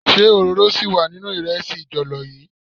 Ṣé òróró síì wà nínú ìrẹsì jọ̀lọ́ yii?